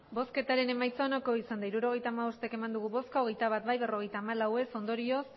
emandako botoak hirurogeita hamabost bai hogeita bat ez berrogeita hamalau ondorioz